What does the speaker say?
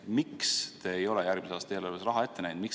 Miks te ei ole järgmise aasta eelarves raha ette näinud?